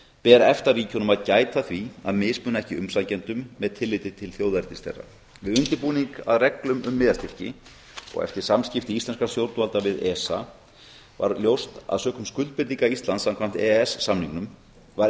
ber efta ríkjunum að gæta að því að mismuna ekki umsækjendum með tilliti til þjóðernis þeirra við undirbúning að reglum um miðastyrki og eftir samskipti íslenskra stjórnvalda við esa var ljóst að sökum skuldbindinga íslands samkvæmt e e s samningnum var